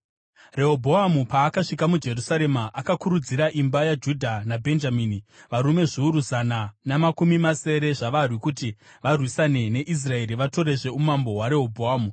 Rehobhoamu paakasvika muJerusarema, akakurudzira imba yaJudha naBhenjamini, varume zviuru zana namakumi masere zvavarwi, kuti varwisane neIsraeri vatorezve umambo hwaRehobhoamu.